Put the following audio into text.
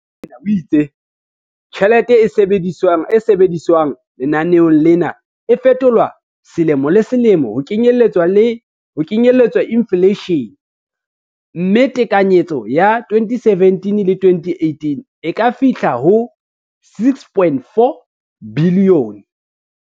Rakwena o itse tjhelete e sebediswang lenaneong lena e fetolwa selemo le selemo ho kenyelletsa infleishene, mme tekanyetso ya 2017-18 e ka fihla ho R6.4 bilione.